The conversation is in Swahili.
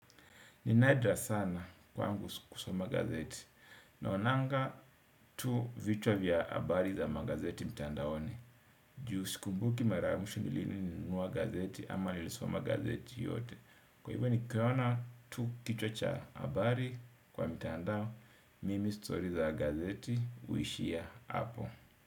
Ninadra sana kwangu kusoma gazeti. Naonanga tu vichwa vya habari za magazeti mtandaoni. Juu sikumbuki mara ya mwisho nilinunua gazeti ama nilisoma gazeti yoyote. Kwa hivyo nikiona tu kichwa cha habari kwa mtandao. Mimi story za gazeti. Uishia hapo.